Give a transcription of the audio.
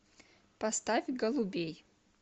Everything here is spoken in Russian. поставь голубей